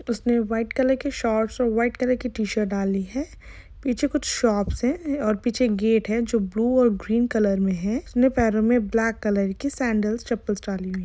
उसने white colour के shorts और व्हाइट कलर के टी-शर्ट्स डाली है पीछे कुछ शॉपस है और पीछे एक गेट है जो ब्लू और ग्रीन कलर मे है उसने पेरों मे ब्लैक कलर की संडल्स चप्पल्स डाली है।